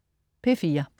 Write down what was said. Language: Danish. P4: